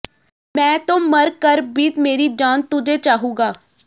ਮੈਂ ਤੋ ਮਰ ਕਰ ਭੀ ਮੇਰੀ ਜਾਨ ਤੁਝੇ ਚਾਹੂੰਗਾ